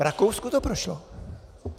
V Rakousku to prošlo!